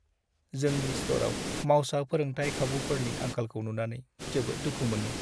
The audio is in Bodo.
जोंनि स्ट'रआव मावसा फोरोंथाय खाबुफोरनि आंखालखौ नुनानै जोबोद दुखु मोनो।